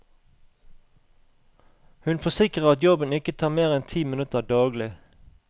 Hun forsikrer at jobben ikke tar mer enn ti minutter daglig.